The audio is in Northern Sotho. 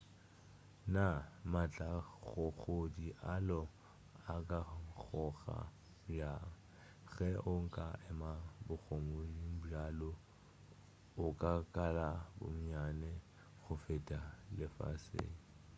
naa maatlakgogedi a lo a ka nkgoga bjang ge o ka ema bogodimong bja lo o ka kala bonnyane go feta lefaseng